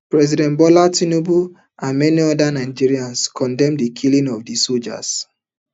president bola tinubu and many nigerians condemn di killing of di sojas